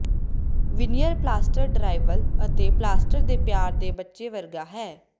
veneer plaster drywall ਅਤੇ plaster ਦੇ ਪਿਆਰ ਦੇ ਬੱਚੇ ਵਰਗਾ ਹੈ